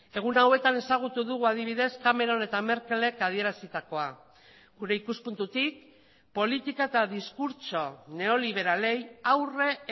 egun hauetan ezagutu dugu adibidez cameron eta merkelek adierazitakoa gure ikuspuntutik politika eta diskurtso neoliberalei aurre